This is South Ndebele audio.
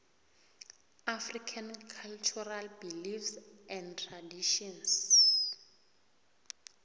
african cultural beliefs and traditions